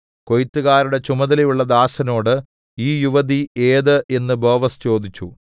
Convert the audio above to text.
കൊയ്ത്തുകാരുടെ ചുമതലയുള്ള ദാസനോട് ഈ യുവതി ഏത് എന്നു ബോവസ് ചോദിച്ചു